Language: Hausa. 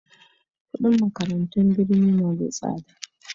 kudin makarantun birni na da tsada